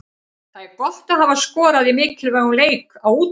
Það er gott að hafa skorað í mikilvægum leik, á útivelli.